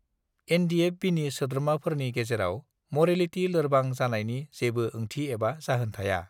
एनडिएफबिनि सोद्रोमाफोरनि गेजेराव मरेलिटि लोरबां जानायनि जेबो ओंथि एबा जाहोन थाया